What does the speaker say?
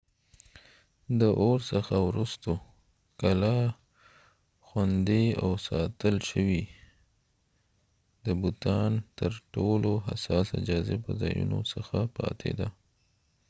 د اور څخه وروسته کلا خوندي او ساتل شوې د بوتان ترټولو حساسه جاذبه ځایونو څخه پاتې ده